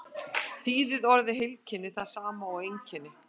þýðir orðið heilkenni það sama og einkenni